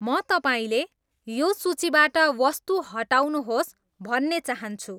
म तपाईँले यो सूचीबाट वस्तु हटाउनुहोस् भन्ने चाहन्छु